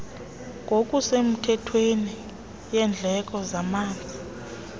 ngokusemthethweni yendleko zamanzi